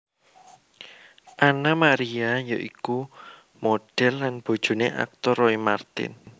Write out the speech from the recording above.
Anna Maria ya iku modhel lan bojoné aktor Roy Marten